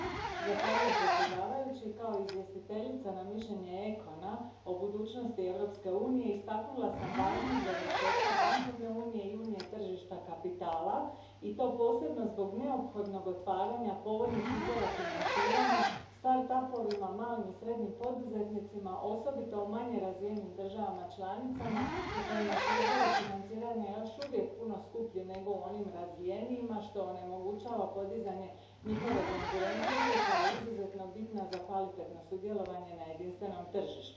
Gospodine predsjedavajući, kao izvjestiteljica za mišljenje ECON a o budućnosti Europske unije istaknula sam važnost dovršetka bankovne unije i unije tržišta kapitala i to posebno zbog neophodnog otvaranja povoljnih izvora financiranja malim i srednjim poduzetnicima, osobito manje razvijenim državama članicama u kojima su izvori financiranja još uvijek puno skuplji nego u onim razvijenijima, što onemogućava podizanje njihove konkurentnosti koja je izuzetno bitna za kvalitetno sudjelovanje na jedinstvenom tržištu.